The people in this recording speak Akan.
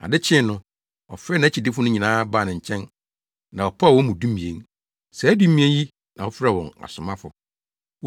Ade kyee no ɔfrɛɛ nʼakyidifo no nyinaa baa ne nkyɛn na ɔpaw wɔn mu dumien. Saa dumien yi na ɔfrɛɛ wɔn asomafo.